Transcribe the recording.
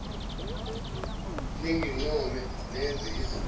ningincome nenze izintwana